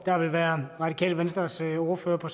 der vil være radikale venstres ordfører på